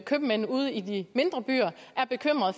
købmænd ude i de mindre byer er bekymrede